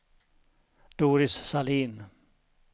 Doris Sahlin